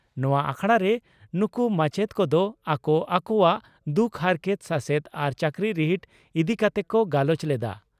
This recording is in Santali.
ᱱᱚᱣᱟ ᱟᱠᱷᱲᱟᱨᱮ ᱱᱩᱠᱩ ᱢᱟᱪᱮᱛ ᱠᱚᱫᱚ ᱟᱠᱚ ᱟᱠᱚᱣᱟᱜ ᱫᱩᱠ ᱦᱟᱨᱠᱮᱛ, ᱥᱟᱥᱮᱛ ᱟᱨ ᱪᱟᱹᱠᱨᱤ ᱨᱤᱦᱤᱴ ᱤᱫᱤ ᱠᱟᱛᱮ ᱠᱚ ᱜᱟᱞᱚᱪ ᱞᱮᱫᱼᱟ ᱾